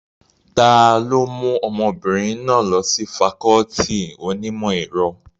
Ta ló mú ọmọbìnrin náà lọ sí fakọọti onímọ̀ ẹ̀rọ?